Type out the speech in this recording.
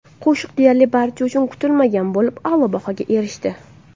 Qo‘shiq deyarli barcha uchun kutilmagan bo‘lib, a’lo bahoga erishdi.